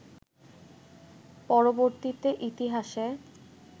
পরবর্তীতে ইতিহাসে